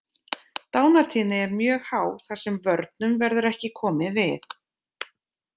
Dánartíðni er mjög há þar sem vörnum verður ekki komið við.